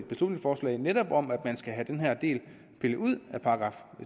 beslutningsforslag netop om at man skal have den her del pillet ud af §